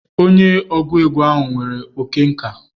Onye ọgụ egwu ahụ nwere oke nka.